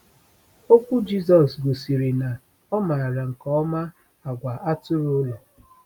Okwu Jisọs gosiri na o maara nke ọma àgwà atụrụ ụlọ.